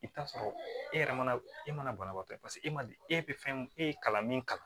I bɛ t'a sɔrɔ e yɛrɛ mana e mana banabaatɔ ye paseke e man di e bɛ fɛn min e ye kalan min kalan